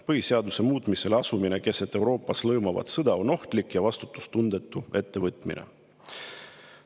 Põhiseaduse muutmisele asumine keset Euroopas lõõmavat sõda on ohtlik ja vastutustundetu ettevõtmine.